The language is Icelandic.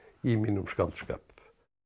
í mínum skáldskap